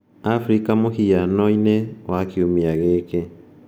Afrika mũhiano-inĩ wa kiumia gĩkĩ: 26 Mĩĩ